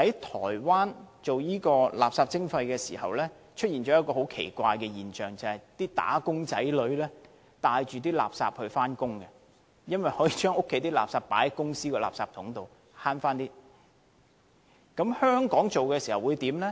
台灣推行垃圾徵費時出現了一個很奇怪的現象，就是"打工仔女"帶着垃圾上班，因為他們可以將家居垃圾放在公司的垃圾箱內，從而節省一些金錢。